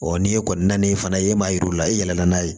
n'e kɔni na na ni fana ye e m'a yir'u la i yɛlɛlɛn n'a ye